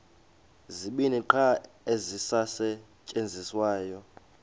zibini qha ezisasetyenziswayo